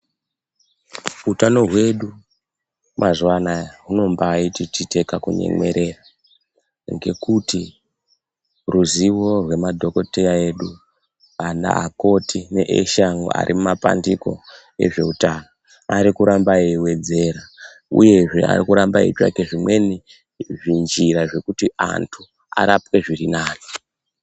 Utano hwedu mazuwa anaa, hunombaa titi tiite kakunyemwerera, ngekuti ruziwo rwemadhokodheya edu, akoti neveshe vari mumapandiko ezveutano ari kuramba eiwedzera. Uyezve ari kuramba eitsvaka zvimweni zvinjira zvekuti anthu arapwe zviri nani.